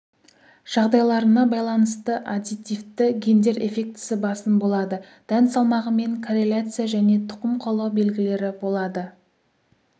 жағдайларына байланысты аддитивті гендер эффектісі басым болады дән салмағымен корреляция және тұқым қуалау белгілері болады